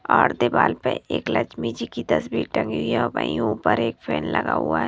Hard दीवाल पे एक लक्ष्मी जी की तस्वीर टंगी हुई है और वही ऊपर एक फैन लगा हुआ है।